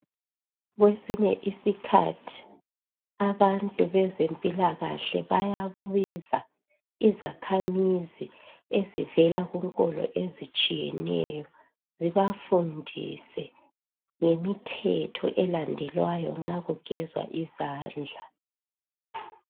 Kwesinye isikhathi abantu bezempilakahle bayabiza izakhamizi ezivela kunkolo ezitshiyeneyo zibafundise ngemithetho elandelwayo nxa kugezwa izandla.